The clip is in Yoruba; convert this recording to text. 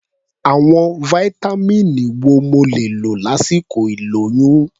Àwọn fáítámíìnì wo mo lè lò lásìkò ìlóyún?